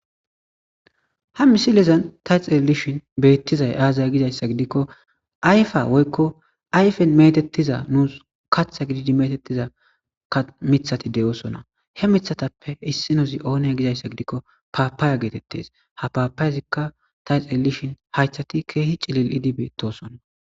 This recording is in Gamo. ha misilezan tayxeelishin beettizay aazaya gidayssa gidikko ayfa woykko ayfen metettiza nuus katha gididi metettiza mithati de7oosona he mithatappe issinozi oone gizayssa gidikko paapaaya geetettes ha paapayezikka tayxelishin haythati keehi cilil idibeetosonna